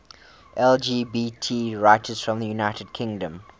lgbt writers from the united kingdom